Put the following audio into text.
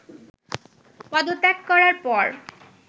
পদত্যাগ করার পর